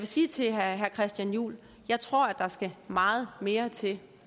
sige til herre christian juhl at jeg tror der skal meget mere til